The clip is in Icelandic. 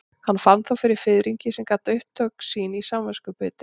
Hann fann þó fyrir fiðringi sem gat átt upptök sín í samviskubiti.